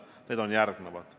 Need on järgmised.